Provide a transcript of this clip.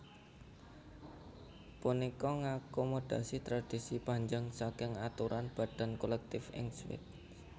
Punika ngakomodasi tradisi panjang saking aturan badan kolektif ing Swiss